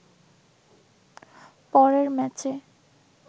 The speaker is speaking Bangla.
পরের ম্যাচে